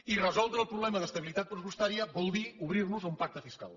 i resoldre el problema d’estabilitat pressupostària vol dir obrir nos a un pacte fiscal